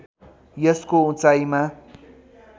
यसको उचाइमा